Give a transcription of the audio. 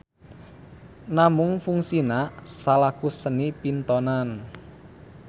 Namung fungsina salaku seni pintonan.